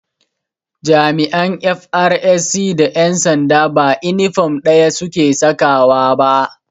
Da jami'an 'FRSC' da ƴan sanda ba inifom ɗaya su ke sawa ba